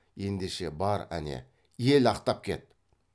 ендеше бар әне ел ақтап кет